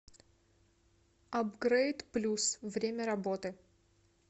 абгрейд плюс время работы